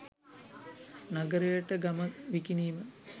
නගරයට ගම විකිණීම